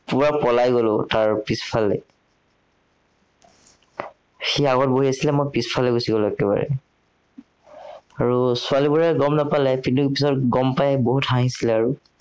পুৰা পলাই গলো তাৰ পিছফালে। সি আগত বহি আছিলে মই পিছফালে গুচি গলো একেবাৰে। আৰু ছোৱালীবোৰে গম নাপালে কিন্তু পিছত গম পাই বহুত হাঁহিছিলে আৰু।